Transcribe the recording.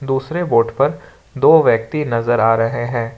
दूसरे बोट पर दो व्यक्ति नजर आ रहे हैं।